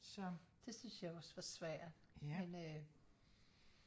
det synes jeg også var svært men øh